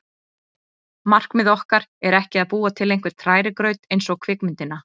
Markmið okkar er ekki að búa til einhvern hrærigraut eins og kvikmyndina